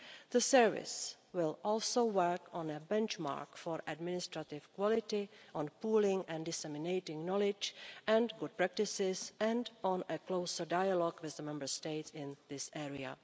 The service will also work on a benchmark for administrative quality, on pooling and disseminating knowledge and good practices and on a closer dialogue with the Member States in this area.